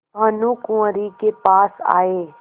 भानुकुँवरि के पास आये